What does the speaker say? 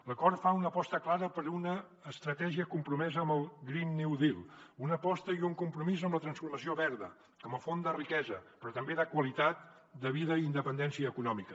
l’acord fa una aposta clara per una estratègia compromesa amb el green new deal una aposta i un compromís amb la transformació verda com a font de riquesa però també de qualitat de vida i independència econòmica